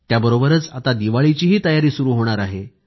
त्याबरोबरच आता दिवाळीचीही तयारी सुरू होणार आहे